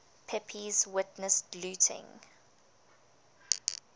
pepys witnessed looting